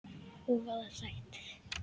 Og voða sætt.